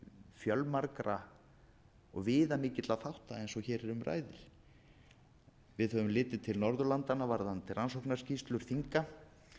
viðamikilla þátta eins og hér um ræðir við höfum litið til norðurlandanna varðandi rannsóknarskýrslur þinga